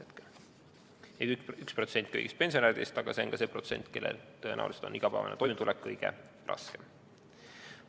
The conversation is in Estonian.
See on 1% kõigist pensionäridest, aga see on ka see protsent, kellel tõenäoliselt on igapäevane toimetulek kõige raskem.